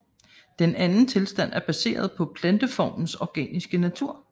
Den anden tilstand er baseret på planteformernes organiske natur